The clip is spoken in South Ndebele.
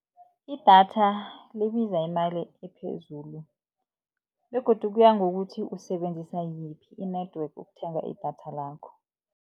Idatha libiza imali ephezulu begodu kuya ngokuthi usebenzisa yiphi i-network ukuthenga idatha lakho.